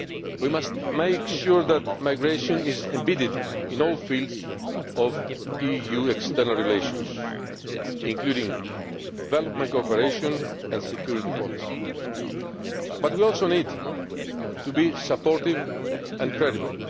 coherent way. We must make sure that migration is embedded in all fields of EU external relations, including development cooperation and security policy, but we also need to be supportive